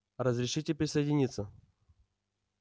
разрешите присоединиться